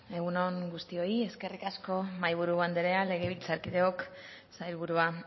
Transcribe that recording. egun on guztioi eskerrik asko mahai buru anderea legebiltzarkideok sailburua